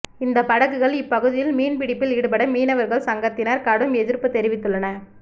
இந்த படகுகள் இப்பகுதியில் மீன்பிடிப்பில் ஈடுபட மீனவர்கள் சங்கத்தினர் கடும் எதிர்ப்பு தெரிவித்துள்ளன